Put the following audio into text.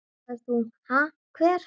Þá sagðir þú: Ha hver?